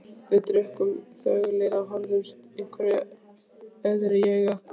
Við drukkum þöglir og horfðumst öðruhverju í augu.